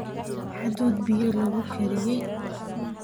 hadhuudh biyo lagu kariyey